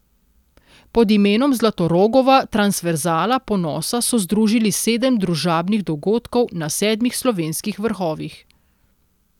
Pod imenom Zlatorogova transverzala ponosa so združili sedem družabnih dogodkov na sedmih slovenskih vrhovih.